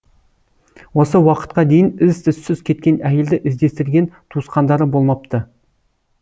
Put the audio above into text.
осы уақытқа дейін із түссіз кеткен әйелді іздестірген туысқандары болмапты